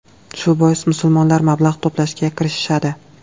Shu bois, musulmonlar mablag‘ to‘plashga kirishishadi.